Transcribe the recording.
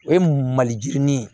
O ye maliyirini